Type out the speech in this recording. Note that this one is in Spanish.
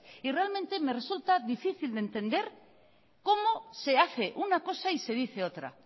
y realmente me resulta difícil de entender cómo se hace una cosa y se dice otra